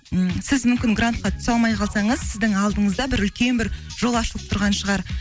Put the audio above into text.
м сіз мүмкін грантқа түсе алмай қалсаңыз сіздің алдыңызда бір үлкен бір жол ашылып тұрған шығар